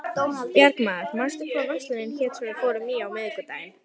Björgmundur, manstu hvað verslunin hét sem við fórum í á miðvikudaginn?